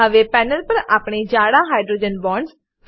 હવે પેનલ પર આપણે જાળા હાઇડ્રોજન બોન્ડ્સ